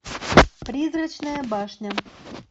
призрачная башня